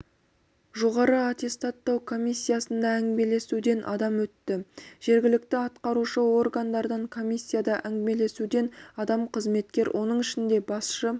жоғары аттестаттау комиссиясында әңгімелесуден адам өтті жергілікті атқарушы органдардан комиссияда әңгімелесуден адам қызметкер оның ішінде басшы